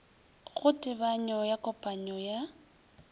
go tebanyo ya kopanyo ya